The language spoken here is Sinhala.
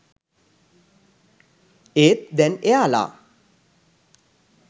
ඒත් දැන් එයාලා